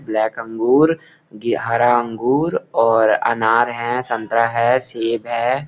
Black अंगूर ग हरा अंगूर और अनार है संतरा है सेब है।